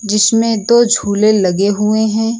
जिसमें दो झूले लगे हुए हैं।